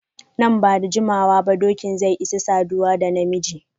Nan ba da jimawa ba dokin zai isa saduwa da na miji.